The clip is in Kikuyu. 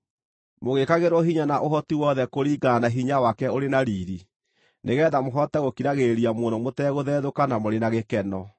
mũgĩĩkagĩrwo hinya na ũhoti wothe kũringana na hinya wake ũrĩ na riiri nĩgeetha mũhote gũkiragĩrĩria mũno mũtegũthethũka na mũrĩ na gĩkeno,